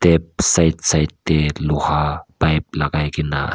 side side teh luha pipe lakai kena as--